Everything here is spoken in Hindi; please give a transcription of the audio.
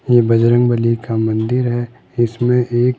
ये बजरंगबली का मंदिर है इसमें एक--